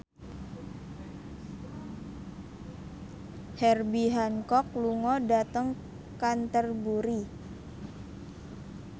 Herbie Hancock lunga dhateng Canterbury